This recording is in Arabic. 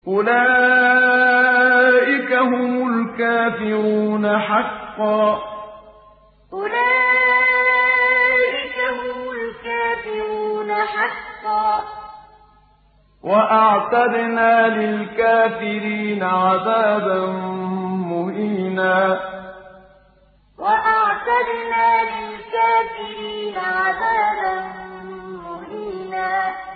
أُولَٰئِكَ هُمُ الْكَافِرُونَ حَقًّا ۚ وَأَعْتَدْنَا لِلْكَافِرِينَ عَذَابًا مُّهِينًا أُولَٰئِكَ هُمُ الْكَافِرُونَ حَقًّا ۚ وَأَعْتَدْنَا لِلْكَافِرِينَ عَذَابًا مُّهِينًا